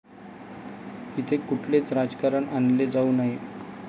इथे कुठलेच राजकारण आणले जाऊ नये.